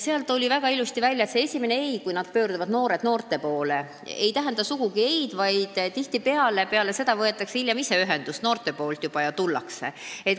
Sealt tuli väga ilusti välja, et esimene ei, kui noored pöörduvad noorte poole, ei tähenda sugugi alati ei-d: tihtipeale võtavad noored hiljem juba ise ühendust ja tulevad kohale.